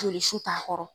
Joli su t'a kɔrɔ